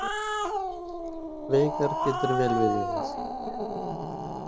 Veigar getur vel við unað